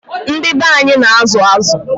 Ndị be anyị na-azụ azụ.